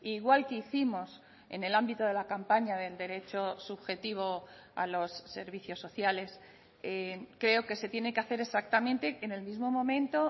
igual que hicimos en el ámbito de la campaña del derecho subjetivo a los servicios sociales creo que se tiene que hacer exactamente en el mismo momento